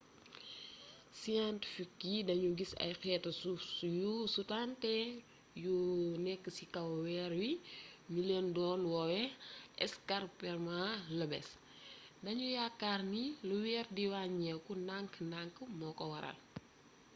scientifique yi dañu gis ay xeetu suuf yu sutante yu nekk ci kaw weer wi ñu leen do woowe ay escarpements lobés dañu yaakaar ni lu weer di wàññiku ndank-ndank moo ko waral